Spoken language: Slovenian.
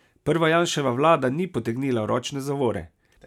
Prva Janševa vlada ni potegnila ročne zavore.